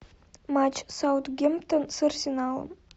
матч саутгемптон с арсеналом